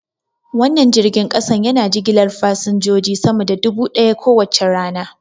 Wannan jirgin kasa yana jigilar fasinjoji sama da dubu daya kowace rana.